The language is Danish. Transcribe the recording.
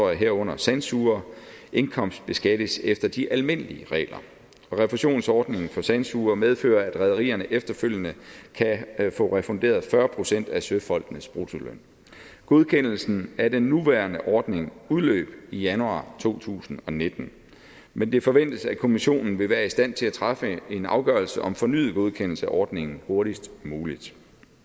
herunder sandsugere indkomstbeskattes efter de almindelige regler refusionsordningen for sandsugere medfører at rederierne efterfølgende kan få refunderet fyrre procent af søfolkenes bruttoløn godkendelsen af den nuværende ordning udløb i januar to tusind og nitten men det forventes at kommissionen vil være i stand til at træffe en afgørelse om fornyet godkendelse af ordningen hurtigst muligt